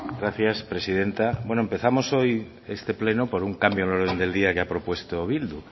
gracias presidenta bueno empezamos hoy este pleno por un cambio en el orden del día que ha propuesto bildu